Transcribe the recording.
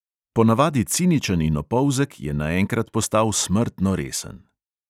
Ponavadi ciničen in opolzek, je naenkrat postal smrtno resen.